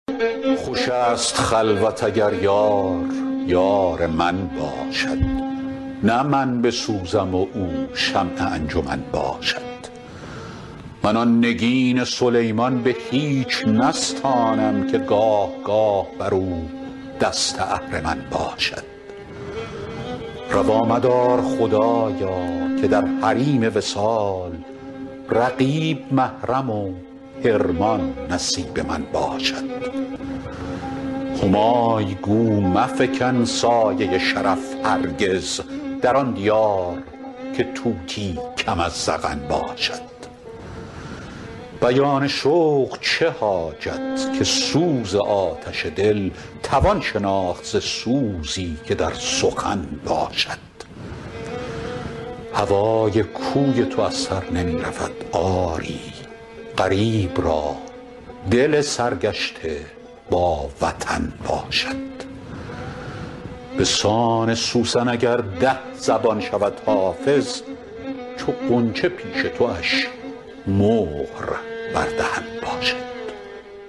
خوش است خلوت اگر یار یار من باشد نه من بسوزم و او شمع انجمن باشد من آن نگین سلیمان به هیچ نستانم که گاه گاه بر او دست اهرمن باشد روا مدار خدایا که در حریم وصال رقیب محرم و حرمان نصیب من باشد همای گو مفکن سایه شرف هرگز در آن دیار که طوطی کم از زغن باشد بیان شوق چه حاجت که سوز آتش دل توان شناخت ز سوزی که در سخن باشد هوای کوی تو از سر نمی رود آری غریب را دل سرگشته با وطن باشد به سان سوسن اگر ده زبان شود حافظ چو غنچه پیش تواش مهر بر دهن باشد